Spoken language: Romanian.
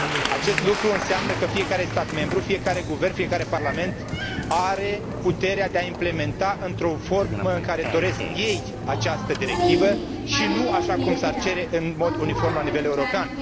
Acest lucru înseamnă că fiecare stat membru, fiecare guvern, fiecare parlament are puterea de a implementa în forma în care doresc ei această directivă, și nu așa cum s ar cere, în mod uniform la nivel european.